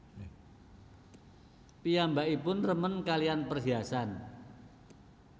Piyambakipun remen kalihan perhiasan